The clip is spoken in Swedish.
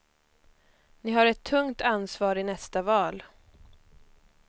Ni har ett tungt ansvar i nästa val.